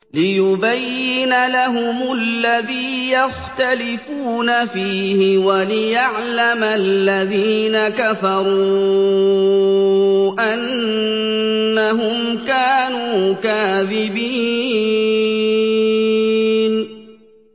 لِيُبَيِّنَ لَهُمُ الَّذِي يَخْتَلِفُونَ فِيهِ وَلِيَعْلَمَ الَّذِينَ كَفَرُوا أَنَّهُمْ كَانُوا كَاذِبِينَ